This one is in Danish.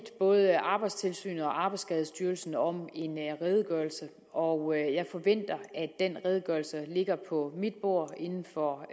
både arbejdstilsynet og arbejdsskadestyrelsen om en redegørelse og jeg forventer at den redegørelse ligger på mit bord inden for